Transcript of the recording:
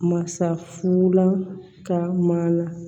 Masa fula ka mana